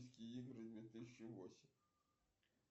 курс валюты центробанка